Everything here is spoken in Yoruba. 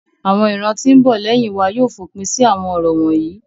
Awọn iran ti n bo leyin wa yóò fopin si awọn orȯ wonyi.́